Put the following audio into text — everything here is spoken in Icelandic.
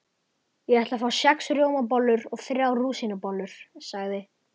Ég ætla að fá sex rjómabollur og þrjár rúsínubollur, sagði